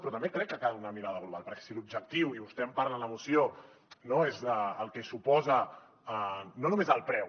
però també crec que cal una mirada global perquè si l’objectiu i vostè en parla en la moció és el que suposa no només el preu